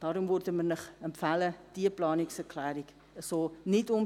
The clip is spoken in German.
Deshalb würden wir Ihnen empfehlen, diese Planungserklärung so nicht zu